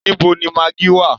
Níbo ni magí wà?